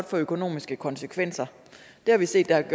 få økonomiske konsekvenser det har vi set at